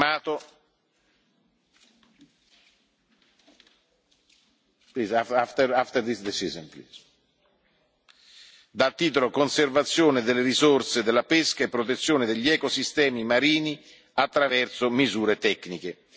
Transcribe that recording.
Mato dal titolo Conservazione delle risorse della pesca e protezione degli ecosistemi marini attraverso misure tecniche.